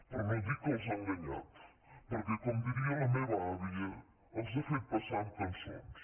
per no dir que els ha enganyat perquè com diria la meva àvia els ha fet passar amb cançons